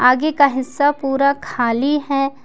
आगे का हिस्सा पूरा खाली है।